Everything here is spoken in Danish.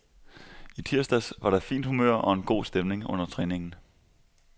I tirsdags var der fint humør og en god stemning under træningen.